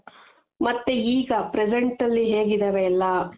ಮಾತ್ತೆ ಈಗ present ಅಲ್ಲಿ ಹೇಗ್ ಇದಾವೆ ಎಲ್ಲಾ